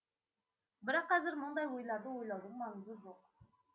бірақ қазір мұндай ойларды ойлаудың маңызы жоқ